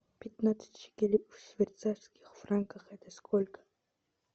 пятнадцать шекелей в швейцарских франках это сколько